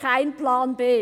«Kein Plan B».